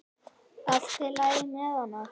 Allt í lagi með hann!